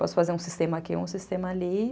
Posso fazer um sistema aqui, um sistema ali.